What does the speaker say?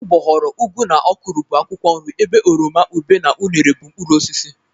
Ụgbọghoro, ụgụ na ọkwụrụ bụ akwụkwọ nri ebe oroma, ube na unere bụ mkpụrụosisi.